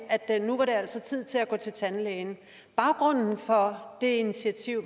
det altså tid til at gå til tandlægen baggrunden for det initiativ